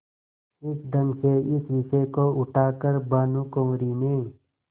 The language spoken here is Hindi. इस ढंग से इस विषय को उठा कर भानुकुँवरि ने